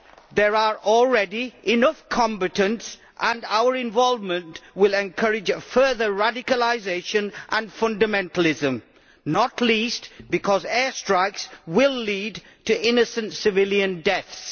There are already enough combatants and our involvement will encourage further radicalisation and fundamentalism, not least because air strikes will lead to innocent civilian deaths.